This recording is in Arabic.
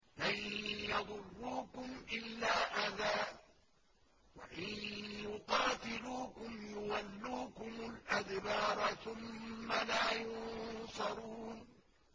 لَن يَضُرُّوكُمْ إِلَّا أَذًى ۖ وَإِن يُقَاتِلُوكُمْ يُوَلُّوكُمُ الْأَدْبَارَ ثُمَّ لَا يُنصَرُونَ